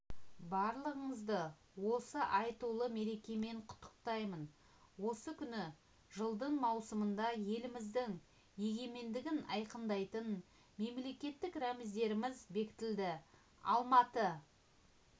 барлығыңызды осы айтулы мерекемен құттықтаймын осы күні жылдың маусымында еліміздің егемендігін айқындайтын мемлекеттік рәміздеріміз бекітілді алматы